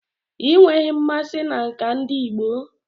Ị nweghị mmasị na nka ndi igbo?